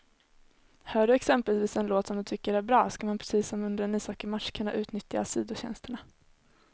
Hör du exempelvis en låt som du tycker är bra, ska man precis som under en ishockeymatch kunna utnyttja sidotjänsterna.